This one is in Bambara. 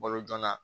Balo jona